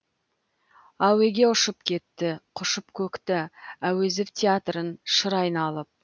әуеге ұшып кетті құшып көкті әуезов театрын шыр айналып